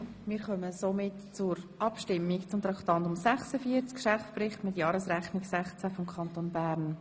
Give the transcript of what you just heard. Wir kommen nun zur Abstimmung über den Geschäftsbericht mit Jahresrechnung 2016 des Kantons Bern.